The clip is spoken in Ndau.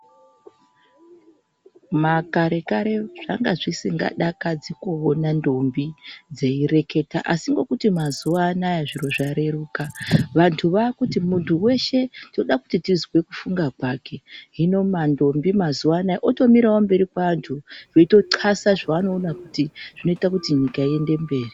Makare kare zvaka zvisingadakadzi kuona ntombi dzeyireketa asi ngokuti mazuva anaya zviro zvareruka asi mazuva anaya vandu vakuti mundu weshe toda kuti tizwe mafungire kwake hino mantombi mazuva anaya otomirawo kumberi kwa wandu veyitoqasa zvawanda kuti zvinoita kuti nyika iende mberi.